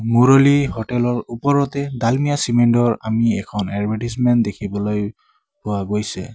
মুৰুলী hotel ৰ ওপৰতে Dalmia cement ৰ আমি এখন এডভাৰ্টিযমেন্ত দেখিবলৈ পোৱা গৈছে।